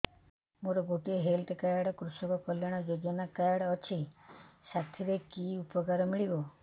ମୋର ଗୋଟିଏ health card କୃଷକ କଲ୍ୟାଣ ଯୋଜନା କାର୍ଡ ଅଛି ସାଥିରେ କି ଉପକାର ମିଳିବ